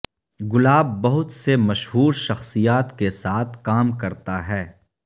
گلاب بہت سے مشہور شخصیات کے ساتھ کام کرتا ہے